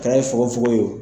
A kɛli fongofongo ye o.